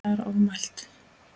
Það er ofmælt.